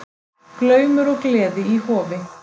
Glaumur og gleði í Hofi